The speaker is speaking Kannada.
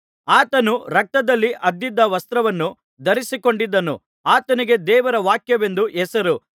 ಆತನು ರಕ್ತದಲ್ಲಿ ಅದ್ದಿದ ವಸ್ತ್ರವನ್ನು ಧರಿಸಿಕೊಂಡಿದ್ದನು ಆತನಿಗೆ ದೇವರ ವಾಕ್ಯವೆಂದು ಹೆಸರು